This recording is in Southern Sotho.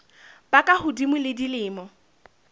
ba ka hodimo ho dilemo